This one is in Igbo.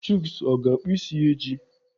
Chuks ọ ga-akpụ isi ya echi?